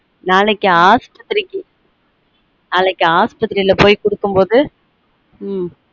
நாளைக்கு ஆஸ்பத்திரிக்க நாளைக்கு ஆஸ்பத்திரில போய் குடுக்கும் போது ம் ம்